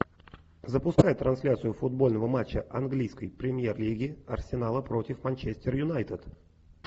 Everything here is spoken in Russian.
запускай трансляцию футбольного матча английской премьер лиги арсенала против манчестер юнайтед